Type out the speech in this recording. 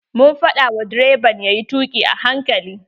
Mun faɗa wa direban yayi tuƙi a hankali.